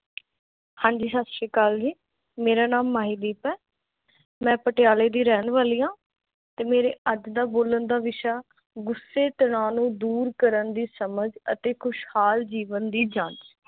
ਹਾਂਜੀ ਸਤਿ ਸ਼੍ਰੀ ਅਕਾਲ ਜੀ ਮੇਰਾ ਨਾਮ ਮਾਹੀ ਦੀਪ ਆ, ਮੈਂ ਪਟਿਆਲੇ ਦੀ ਰਹਿਣ ਵਾਲੀ ਆ, ਤੇ ਮੇਰੇ ਅੱਜ ਦਾ ਬੋਲਾਂ ਦਾ ਵਿਸ਼ਾ ਗੁੱਸੇ ਤਨਾਲੋ ਦੂਰ ਕਰਨ ਦੀ ਸਮਝ ਤੇ ਖੁਸ਼ਹਾਲ ਜੀਵਨ ਦੀ ਜਾਂਚ